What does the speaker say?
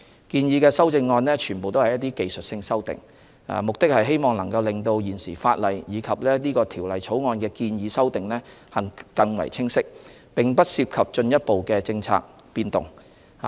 建議的修正案全為技術性修訂，旨在令到現時法例及本《條例草案》的建議修訂更為清晰，並不涉及進一步的政策變動。